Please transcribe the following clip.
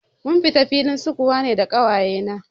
Mun fita filin sukuwa ne da ƙawaye na